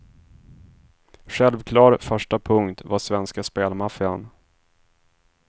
Självklar första punkt var svenska spelmaffian.